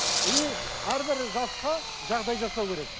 и әрбір жасқа жағдай жасау керек